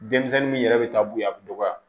Denmisɛnnin min yɛrɛ bɛ taa bonya a bɛ dɔgɔya